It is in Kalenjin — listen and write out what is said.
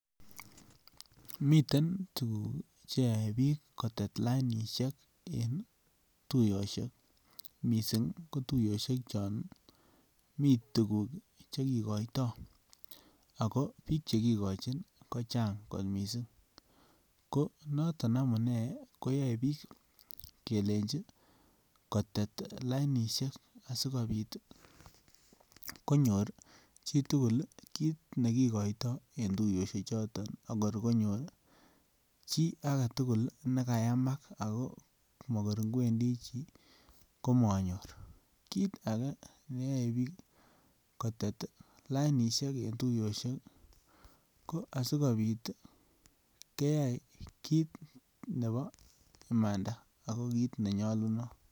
Miten tuguk che yoe biik kotet lainisiek en tuiyosiek, mising ko tuiyosiek chon mi tuguk che kigoito ago biik che kigochin kochang kot mising. Ko noton amune koyae biik kelenji kotet lainisiek asigopit konyor chi tugul kit ne kigoito en tuiyosiechoto agor konyor che agetugul ne kayamak ago magor ingwendi chi komanyor. Kit age neyoe biik kotet lainisiek eng tuiyosiek ko asigopit keyai kit nebo imanda ago kit nenyalunot.